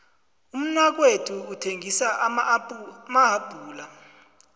umnakethu uthengisa amahapula